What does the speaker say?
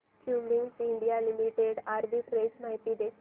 Cummins India Limited arbitrage माहिती दे